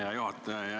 Hea juhataja!